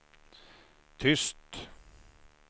tyst